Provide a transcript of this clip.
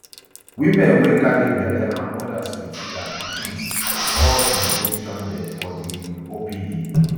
women wey carry belle and odas wit dia pickins all bin dey stranded for di um opd